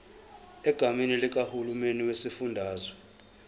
egameni likahulumeni wesifundazwe